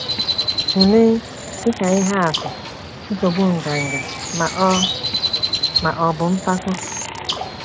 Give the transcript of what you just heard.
Tụlee, dị ka ihe atụ, nsogbu nganga, ma ọ, ma ọ bụ mpako.